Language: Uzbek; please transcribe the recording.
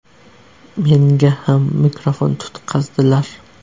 Menga ham mikrofon tutqazdilar.